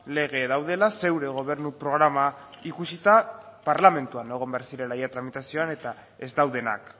lege daudela zeure gobernu programa ikusita parlamentuan egon behar zirela ia tramitazioan eta ez daudenak